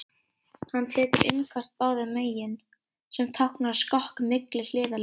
Hann tekur innköst báðum megin, sem táknar skokk milli hliðarlína.